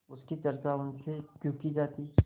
उसकी चर्चा उनसे क्यों की जाती